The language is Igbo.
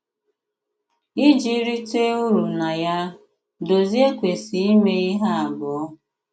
Ìji rìtè ùrù na ya, Dòzìè kwesị̀ ímè ihe abụọ.